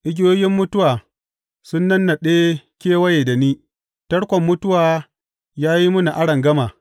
Igiyoyin mutuwa sun nannaɗe kewaye da ni; tarkon mutuwa ya yi mini arangama.